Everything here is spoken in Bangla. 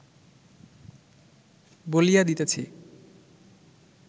বলিয়া দিতেছি